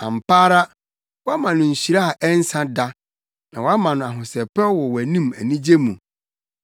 Ampa ara, woama no nhyira a ɛnsa da na woama no ahosɛpɛw wɔ wʼanim anigye mu.